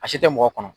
A si tɛ mɔgɔ kɔnɔ